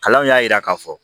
Kalanw y'a yira k'a fɔ